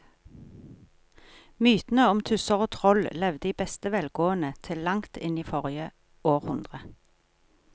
Mytene om tusser og troll levde i beste velgående til langt inn i forrige århundre.